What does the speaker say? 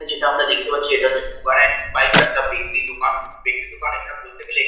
এটা যেটা আমরা দেখতে পাচ্ছি এটা হচ্ছে সুগার এন্ড স্পাইস একটা বেকরি দোকান বেকরি দোকান এখানে বলতে গেলে।